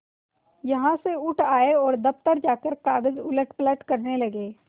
यहाँ से उठ आये और दफ्तर जाकर कागज उलटपलट करने लगे